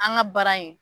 An ka baara in